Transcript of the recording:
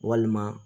Walima